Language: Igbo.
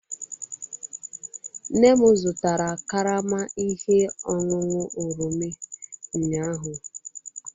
Nne m zụtara karama ihe ọṅụṅụ oroma ụnyahụ.